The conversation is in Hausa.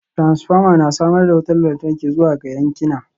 Transformer na samar da wutar lantarki zuwa ga yankina